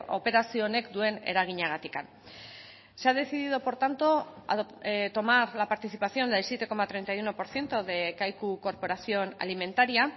operazio honek duen eraginagatik se ha decidido por tanto tomar la participación del siete coma treinta y uno por ciento de kaiku corporación alimentaria